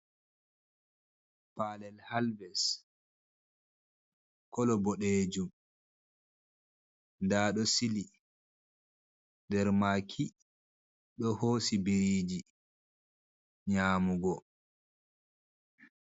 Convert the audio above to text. Palel halves kolo boɗejum nda ɗo sili nder maki ɗo hosi biriji nyamugo.